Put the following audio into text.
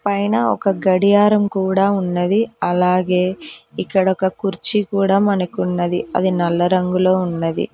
పైన ఒక గడియారం కూడా ఉన్నది అలాగే ఇక్కడ ఒక కుర్చీ కూడా మనకున్నది అది నల్ల రంగులో ఉన్నది.